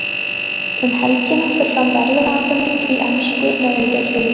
Um helgina fer fram verðlaunaafhending í ensku neðri deildunum.